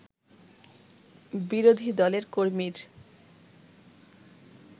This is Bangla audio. বিরোধী দলের কর্মীর